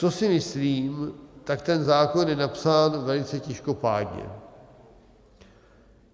Co si myslím, tak ten zákon je napsán velice těžkopádně.